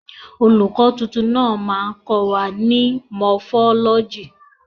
Olùkọ́ titun ló máa kọ wa ní Mọfọ́lọ́jì.